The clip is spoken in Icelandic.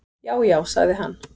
"""Já, já sagði hann."""